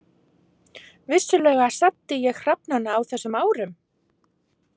Vissulega saddi ég hrafnana á þessum árum.